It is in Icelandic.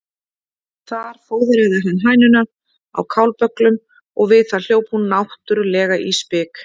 Þar fóðraði hann hænuna á kálbögglum og við það hljóp hún náttúrlega í spik.